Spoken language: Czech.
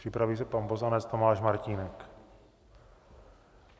Připraví se pan poslanec Tomáš Martínek.